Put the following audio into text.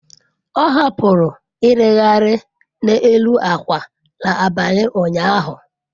Ọ hapụrụ irighiri n'elu akwa n'abalị ụnyaahụ.